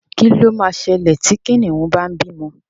Kí ló ma ṣẹlẹ̀ tí Kìnìún bá ń bímọ?